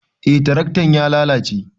Eh tiraktan ya lalace